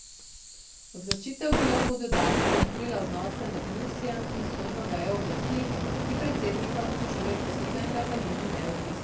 Odločitev bi lahko dodatno zaostrila odnose med Mursijem in sodno vejo oblasti, ki predsednika obtožuje poseganja v njeno neodvisnost.